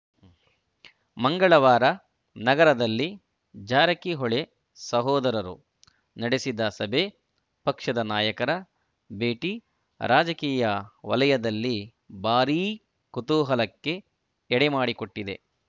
ಮಂಗಳವಾರ ನಗರದಲ್ಲಿ ಜಾರಕಿಹೊಳಿ ಸಹೋದರರು ನಡೆಸಿದ ಸಭೆ ಪಕ್ಷದ ನಾಯಕರ ಭೇಟಿ ರಾಜಕೀಯ ವಲಯದಲ್ಲಿ ಭಾರೀ ಕುತೂಹಲಕ್ಕೆ ಎಡೆಮಾಡಿಕೊಟ್ಟಿದೆ